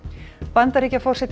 Bandaríkjaforseti